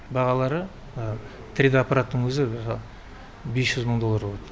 бағалары три д аппараттың өзі бес жүз мың доллар болады